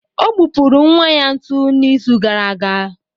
Ọ gbupụrụ nwa ya ntu n'izu gara aga